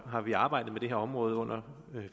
har vi arbejdet med det her område under